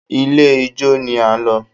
Ilé ijó ni a lọ